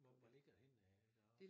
Hvor hvor ligger det henne af deroppe?